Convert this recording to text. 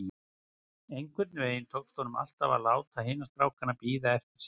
Einhvern veginn tókst honum alltaf að láta hina strákana bíða eftir sér.